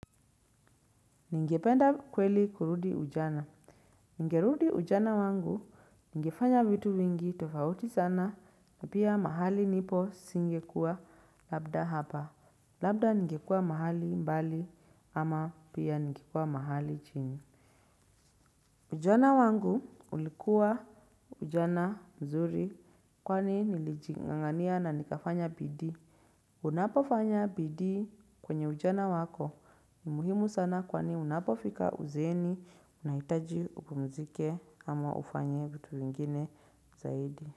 Ningependa kweli kurudi ujana. Ningerudi ujana wangu ningefanya vitu vingi tofauti sana na pia mahali nipo singekua labda hapa. Labda ningekua mahali mbali ama pia ningekua mahali chini. Ujana wangu ulikuwa ujana mzuri kwani nilijing'ang'ania na nikafanya bidii. Unapofanya bidii kwenye ujana wako ni muhimu sana kwani unapofika uzeeni unahitaji upumzike ama ufanye vitu vingine zaidi.